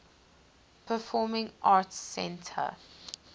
performing arts center